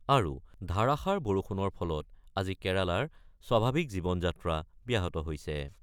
আৰু ধাৰাষাৰ বৰষুণৰ ফলত আজি কেৰালাৰ স্বাভাৱিক জীৱন-যাত্ৰা ব্যাহত হৈছে।